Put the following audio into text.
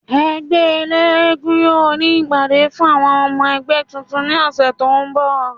Ẹgbẹ elégún yoo ni ipade fun awọn ọmọ ẹgbẹ tuntun ni ọsẹ to n bọ